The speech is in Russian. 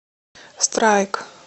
страйк